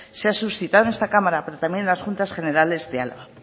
se ha suscitado en esta cámara pero también en las juntas generales de álava